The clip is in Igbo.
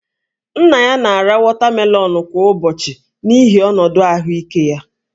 Nna ya na-ara wọtamelọnụ kwa ụbọchị n'ihi ọnọdụ ahụike ya